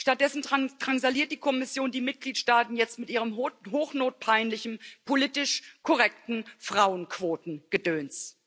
Stattdessen drangsaliert die Kommission die Mitgliedstaaten jetzt mit ihrem hochnotpeinlichen politisch korrekten Frauenquotengedöns.